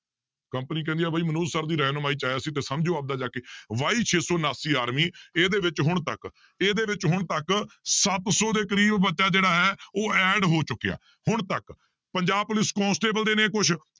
Company ਕਹਿੰਦੀ ਹੈ ਬਾਈ ਮਨੋਜ sir ਦੀ ਰਹਿਨੁਮਾਈ 'ਚ ਆਇਆ ਸੀ ਤੇ ਸਮਝੋ ਆਪਦਾ ਜਾ ਕੇ y ਛੇ ਸੌ ਉਣਾਸੀ army ਇਹਦੇ ਵਿੱਚ ਹੁਣ ਤੱਕ ਇਹਦੇ ਵਿੱਚ ਹੁਣ ਤੱਕ ਸੱਤ ਸੌ ਦੇ ਕਰੀਬ ਬੱਚਾ ਜਿਹੜਾ ਹੈ ਉਹ add ਹੋ ਚੁੱਕਿਆ ਹੁਣ ਤੱਕ ਪੰਜਾਬ ਪੁਲਿਸ ਕੋਂਸਟੇਬਲ ਦੇ ਨੇ ਕੁਛ